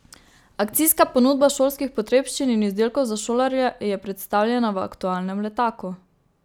Akcijska ponudba šolskih potrebščin in izdelkov za šolarje je predstavljena v aktualnem letaku.